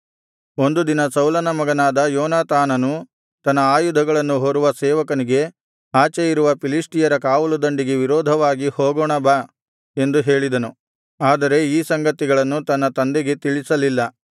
ಒಂದು ದಿನ ಸೌಲನ ಮಗನಾದ ಯೋನಾತಾನನು ತನ್ನ ಆಯುಧಗಳನ್ನು ಹೊರುವ ಸೇವಕನಿಗೆ ಆಚೆ ಇರುವ ಫಿಲಿಷ್ಟಿಯರ ಕಾವಲುದಂಡಿಗೆ ವಿರೋಧವಾಗಿ ಹೋಗೋಣ ಬಾ ಎಂದು ಹೇಳಿದನು ಆದರೆ ಈ ಸಂಗತಿಯನ್ನು ತನ್ನ ತಂದೆಗೆ ತಿಳಿಸಲಿಲ್ಲ